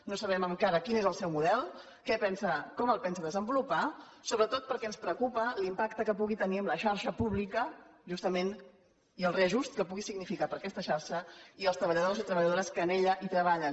no sabem encara quin és el seu model com el pensa desenvolupar sobretot perquè ens preocupa l’impacte que pugui tenir en la xarxa pública justament i el reajust que pugui significar per a aquesta xarxa i els treballadors i treballadores que en ella treballen